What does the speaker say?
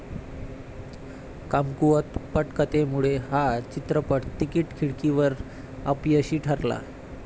कमकुवत पटकथेमुळे हा चित्रपट तिकिट खिडकीवर अपयशी ठरला